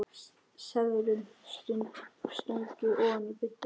Seðlum stungið ofan í buddu.